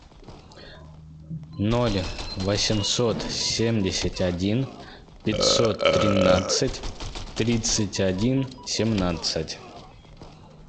ноль восемьсот семьдесят один пятьсот тринадцать тридцать один семнадцать